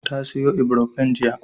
Ta sayo Ibrofen jiya.